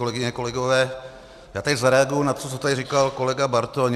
Kolegyně, kolegové, já teď zareaguji na to, co tady říkal kolega Bartoň.